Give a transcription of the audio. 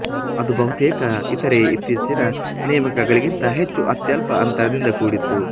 ಅದು ಬಹುತೇಕ ಇತರೆ ಇತ್ತೀಚಿನ ನೇಮಕಗಳಿಗಿಂತ ಹೆಚ್ಚು ಅತ್ಯಲ್ಪ ಅಂತರದಿಂದ ಕೂಡಿತ್ತು